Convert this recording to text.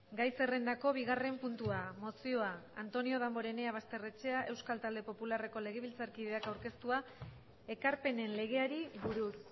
gai zerrendako bigarren puntua mozioa antonio damborenea basterrechea euskal talde popularreko legebiltzarkideak aurkeztua ekarpenen legeari buruz